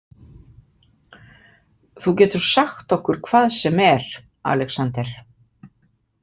Þú getur sagt okkur hvað sem er, Alexander.